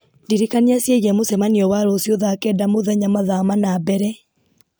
ndirikania ciĩgiĩ mũcemanio wa rũciũ thaa kenda mũthenya mathaa mana mbere